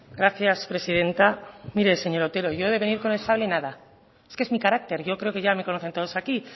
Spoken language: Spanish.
gracias presidenta mire señor otero yo de venir con el sable nada es que es mi carácter yo creo que ya me conocen todos aquí